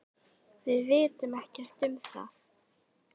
Við vitum ekkert um það.